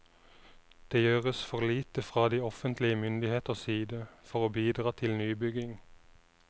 Det gjøres for lite fra de offentlige myndigheters side for å bidra til nybygging.